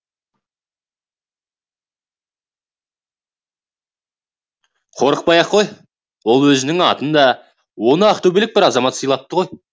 қорықпай ақ қой ол өзіңнің атыңда оны ақтөбелік бір азамат сыйлапты ғой